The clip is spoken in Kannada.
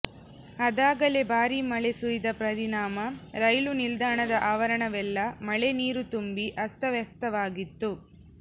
ಆದಾಗಲೇ ಭಾರೀ ಮಳೆ ಸುರಿದ ಪರಿಣಾಮ ರೈಲು ನಿಲ್ದಾಣದ ಆವರಣವೆಲ್ಲ ಮಳೆ ನೀರು ತುಂಬಿ ಅಸ್ತವ್ಯಸ್ತವಾಗಿತ್ತು